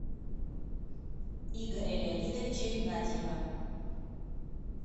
игоря леонидовича игнатьева